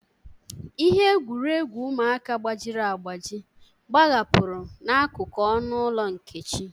Ihe egwuregwu ụmụaka gbajiri agbaji gbahapụrụ n'akụkụ ọnụ ụlọ Nkechi.